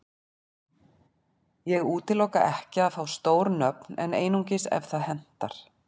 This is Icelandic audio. Ég útiloka ekki að fá stór nöfn en einungis ef það hentar.